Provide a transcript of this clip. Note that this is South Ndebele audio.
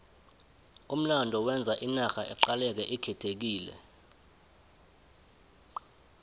umlando wenza inarha iqaleke ikhethekile